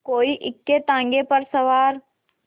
कोई इक्केताँगे पर सवार